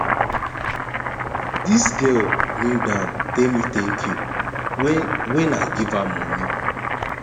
dis girl kneeldown tell me tank you wen wen i give am moni